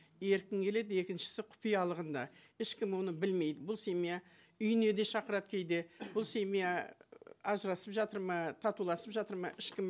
еркін келеді екіншісі құпиялығында ешкім оны білмейді бұл семья үйіне де шақырады кейде бұл семья і ажырасып жатыр ма татуласып жатыр ма ешкім